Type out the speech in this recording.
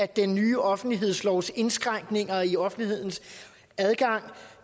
den nye offentlighedslov skulle ske indskrænkninger i offentlighedens adgang